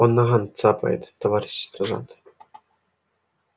он наган цапает товарищ сержант